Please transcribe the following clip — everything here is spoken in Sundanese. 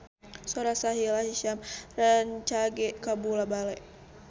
Sora Sahila Hisyam rancage kabula-bale